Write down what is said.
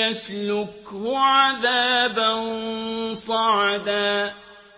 يَسْلُكْهُ عَذَابًا صَعَدًا